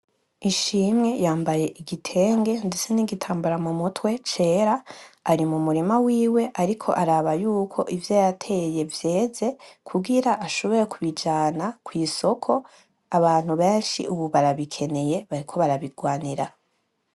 Ishimwe yambaye igitenge ndetse n'igitambara mu mutwe cera, ari mu murima wiwe. Ariko araraba yuko ivyo yateye vyeze kugira shobore kubijana kw'isoko. Abantu benshi ubu barabikeneye bariko barabigwanira.